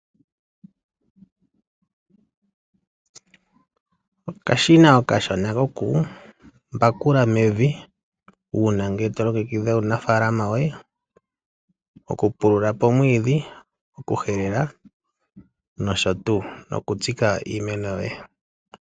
Okashina okashona kokumbakula mevi uuna ngele to longekidha uunafaalama woye. Okupulula po omwiidhi, okuhelela noshotuu nokutsika iimeno yoye.